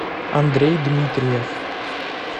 андрей дмитриев